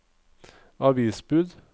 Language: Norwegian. avisbud